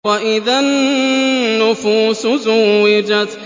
وَإِذَا النُّفُوسُ زُوِّجَتْ